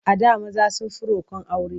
A da maza sun fi riƙon aure.